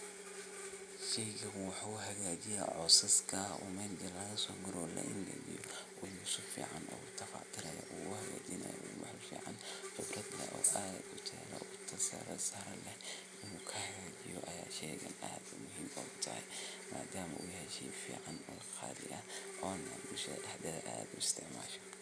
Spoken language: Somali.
Sheygan wuxu hagajiya cosaska oo meel inti lagasoguro laingijiyo wali sifican utabac tirayo uu hagajinayo waliba wax ficn oo tayo leeh uu kshagajiyo muhiim utahay madama uu yahay shey qali aah oo bulshada dexdeda aad ogaisticmasho.